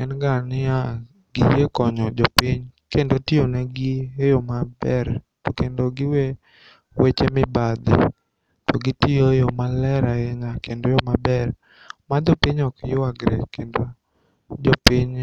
enganiya giyie konyo jopiny kendo tionegi e yoo maber tokendo giwee weche mibadhi. To gitiyo e yoo maler ainya kendo e yoo maber majopiny okyuagre kendo jopiny